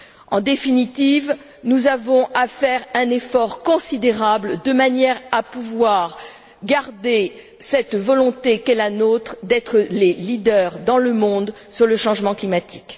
En définitive, nous avons à faire un effort considérable de manière à pouvoir garder cette volonté qu'est la nôtre d'être les leaders dans le monde sur le changement climatique.